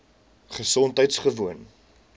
gesondheidgewoon